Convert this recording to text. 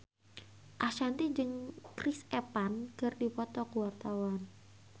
Ashanti jeung Chris Evans keur dipoto ku wartawan